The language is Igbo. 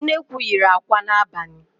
Nnekwu yiri àkwá n'abalị